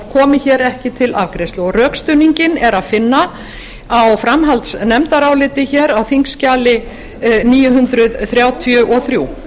komi ekki til afgreiðslu rökstuðninginn er að finna á framhaldsnefndaráliti á þingskjali níu hundruð þrjátíu og þrjú